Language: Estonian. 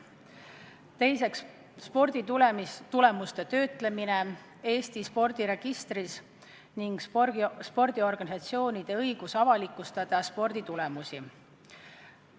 Teiseks, sporditulemuste töötlemine Eesti spordiregistris ning spordiorganisatsioonide õigus avalikustada sporditulemusi.